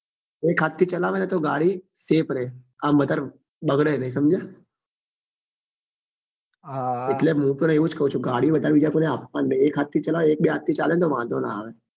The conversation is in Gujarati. એક હાથ થી ચલાવે ને તો ગાડી safe રે આમ વધારે બગડે નહિ સમજ્યો એટલે મુ પણ એ જ કઉં છું કે ગાડીઓ વધારે બીજા કોઈ ને આપવા ની નહિ એક હાથ થી ચલાવે ને એક બે હાથ થી ચાલે તો વાંધો નાં આવે